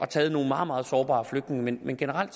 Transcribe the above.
taget nogle meget meget sårbare flygtninge men generelt